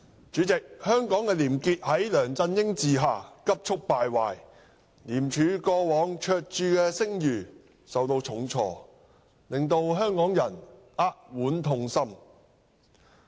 主席，香港的廉潔在梁振英治下急速敗壞，廉政公署過往卓著的聲譽受到重挫，令香港人扼腕痛心。